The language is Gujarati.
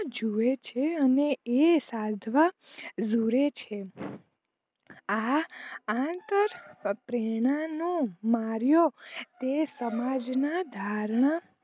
જુવે છે અને એ સાર્ધવા રૂરે છે આ અંતર પ્રેરણા નો મારિયો તે સમાજ ના ધારણા